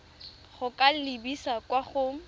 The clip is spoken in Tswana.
go ka lebisa kwa go